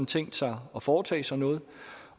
tænkt sig at foretage sig noget